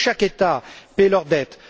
il faut que chaque État paie ses dettes.